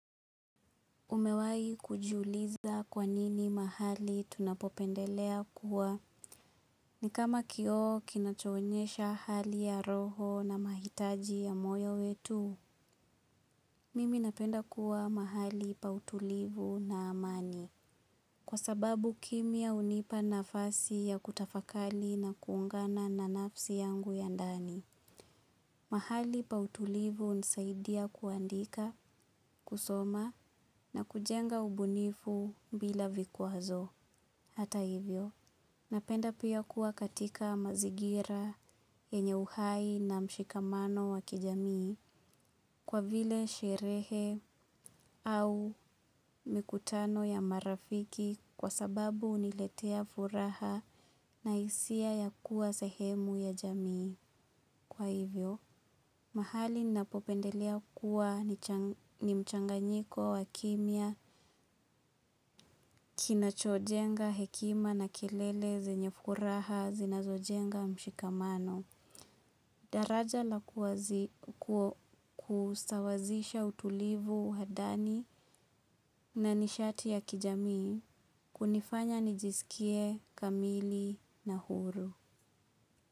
Umewai kujiuliza kwa nini mahali tunapopendelea kuwa ni kama kioo kinachoonyesha hali ya roho na mahitaji ya moyo wetu. Mimi napenda kuwa mahali pa utulivu na amani. Kwa sababu kimya hunipa nafasi ya kutafakali na kuungana na nafsi yangu ya ndani. Mahali pa utulivu hunisaidia kuandika, kusoma na kujenga ubunifu bila vikwazo. Hata hivyo, napenda pia kuwa katika mazingira yenye uhai na mshikamano wa kijamii kwa vile sherehe au mikutano ya marafiki kwa sababu huniletea furaha na hisia ya kuwa sehemu ya jamii. Kwa hivyo, mahali ninapopendelea kuwa ni mchanganyiko wa kimya, kinachojenga, hekima na kelele, zenye furaha, zinazojenga, mshikamano. Daraja la kusawazisha utulivu hadani na nishati ya kijamii hunifanya nijisikie kamili na huru.